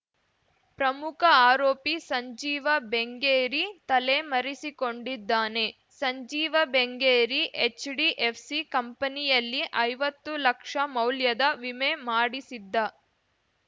ಪ್ರಮುಖ ಆರೋಪಿ ಸಂಜೀವ ಬೆಂಗೇರಿ ತಲೆಮರೆಸಿಕೊಂಡಿದ್ದಾನೆ ಸಂಜೀವ ಬೆಂಗೇರಿ ಎಚ್‌ಡಿಎಫ್‌ಸಿ ಕಂಪನಿಯಲ್ಲಿ ಐವತ್ತು ಲಕ್ಷ ಮೌಲ್ಯದ ವಿಮೆ ಮಾಡಿಸಿದ್ದ